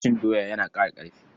Cin doya yana ƙara ƙarfi.